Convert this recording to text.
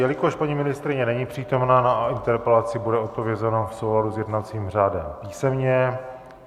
Jelikož paní ministryně není přítomna, na interpelaci bude odpovězeno v souladu s jednacím řádem písemně.